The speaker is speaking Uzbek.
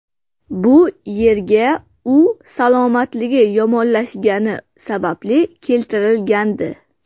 Bu yerga u salomatligi yomonlashgani sababli keltirilgandi.